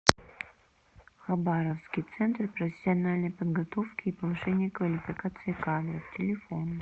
хабаровский центр профессиональной подготовки и повышения квалификации кадров телефон